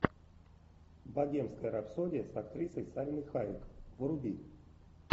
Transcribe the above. богемская рапсодия с актрисой сальмой хайек вруби